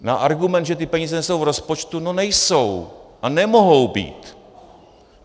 Na argument, že ty peníze nejsou v rozpočtu, no nejsou a nemohou být.